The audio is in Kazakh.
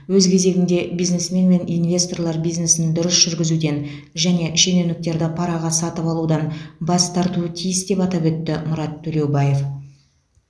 өз кезегінде бизнесмен мен инвесторлар бизнесін дұрыс жүргізуден және шенеуніктерді параға сатып алудан бас тартуы тиіс деп атап өтті мұрат төлеубаев